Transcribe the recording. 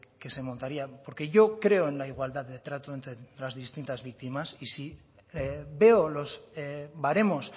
que se montaría porque yo creo en la igualdad de trato entre las distintas víctimas y si veo los baremos